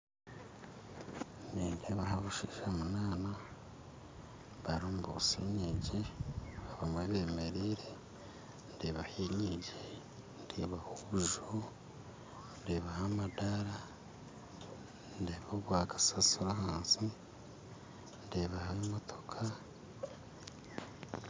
Nindeebaho abashaija munaana barimu nibotsya enyingi bamwe bemereire ndeebaho enyingi ndeebaho obunju ndeebaho amadaara ndeeba obw'akasaasiro ahansi ndeebaho emotooka